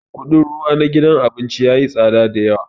Kudin ruwa na gidan abincin yayi tsada da yawa.